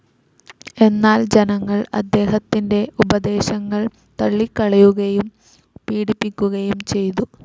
എന്നാൽ ജനങ്ങൾ അദ്ദേഹത്തിൻ്റെ ഉപദേശങ്ങൾ തള്ളിക്കളയുകയും പീഡിപ്പിക്കുകയും ചെയ്തു..